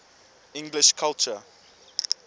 english culture